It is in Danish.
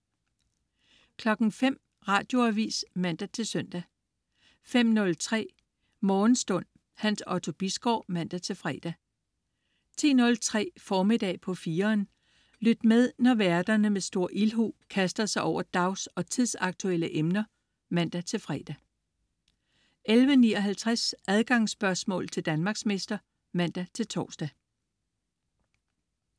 05.00 Radioavis (man-søn) 05.03 Morgenstund. Hans Otto Bisgaard (man-fre) 10.03 Formiddag på 4'eren. Lyt med, når værterne med stor ildhu kaster sig over dags- og tidsaktuelle emner (man-fre) 11.59 Adgangsspørgsmål til Danmarksmester (man-tors)